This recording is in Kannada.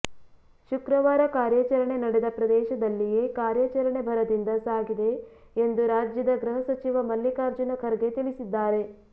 ಶುಕ್ರವಾರ ಕಾರ್ಯಾಚರಣೆ ನಡೆದ ಪ್ರದೇಶದಲ್ಲಿಯೇ ಕಾರ್ಯಾಚರಣೆ ಭರದಿಂದ ಸಾಗಿದೆ ಎಂದು ರಾಜ್ಯದ ಗೃಹ ಸಚಿವ ಮಲ್ಲಿಕಾರ್ಜುನ ಖರ್ಗೆ ತಿಳಿಸಿದ್ದಾರೆ